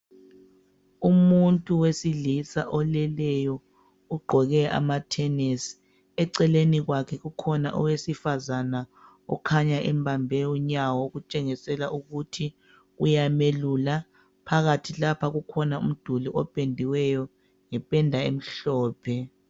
Umuntu wesilisa oleleyo, ugqoke amathenesi. Eceleni kwakhe kukhona owesifazana ukhanya embambe unyawo okutshengisela ukuthi uyamelula. Phakathi lapha kukhona umduli opendiweyo ngependa emhlophe.